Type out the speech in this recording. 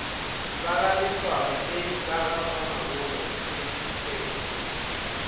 bagaletsoalo le bagamamabolo se fepša